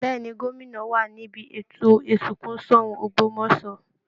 Bẹ́ẹ̀ ni, gómìnà wà níbi ètò ìsìnkú Ṣọ̀ún Ògbómọ̀ṣọ́